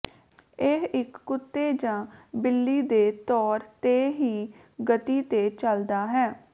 ਇਹ ਇੱਕ ਕੁੱਤੇ ਜ ਬਿੱਲੀ ਦੇ ਤੌਰ ਤੇ ਹੀ ਗਤੀ ਤੇ ਚੱਲਦਾ ਹੈ